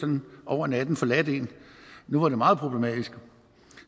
dem over natten nu var det meget problematisk